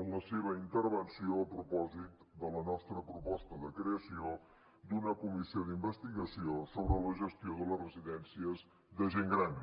en la seva intervenció a propòsit de la nostra proposta de creació d’una comissió d’investigació sobre la gestió de les residències de gent gran